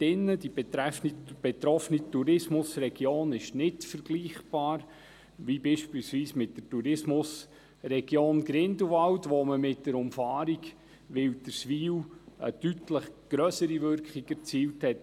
Die betroffene Tourismusregion ist nicht vergleichbar, beispielsweise mit der Tourismusregion Grindelwald, wo man mit der Umfahrung Wilderswil eine deutlich grössere Wirkung erzielt hat.